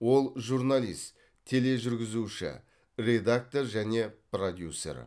ол журналист тележүргізуші редактор және продюсер